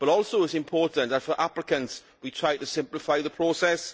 But also it is important for applicants that we try to simplify the process.